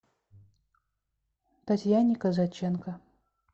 татьяне казаченко